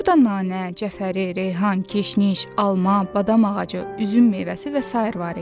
Burda nanə, cəfəri, reyhan, keşniş, alma, badam ağacı, üzüm meyvəsi və sair var idi.